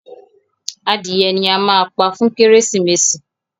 Adìye ní a má pá fún Kérésìmesì.